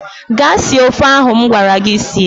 Gaa sie ofe ahụ m gwara gị sie!